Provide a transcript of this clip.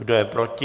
Kdo je proti?